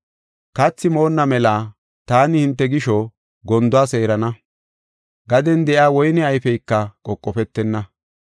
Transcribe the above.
“Kathi moonna mela taani hinte gisho, gonduwa seerana; gaden de7iya woyne ayfeyka qoqofetenna.